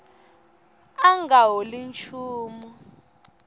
a a nga holi nchumu